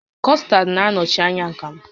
Custard bụ nnọchi anya akamụ